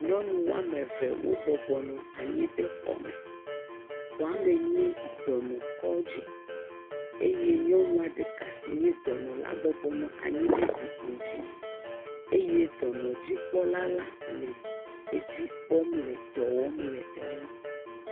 Nyɔnu woame ve wobɔbɔnɔ anyi ɖe xɔ me, xɔame nye dɔnɔkɔdzi eye nyɔnua ɖeka si nye dɔnɔ la bɔbɔnɔ anyi ɖe zikpui dzi eye dɔnɔdzikpɔla la le edzi kpɔm le dɔ wɔm le eŋu.